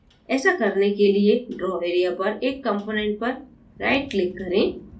ऐसा करने के लिए draw area पर एक component पर right click करें